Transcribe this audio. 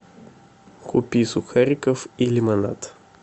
купи сухариков и лимонад